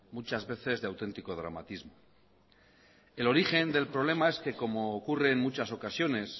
muchas veces de auténtico dramatismo el origen del problema es que como ocurre en muchas ocasiones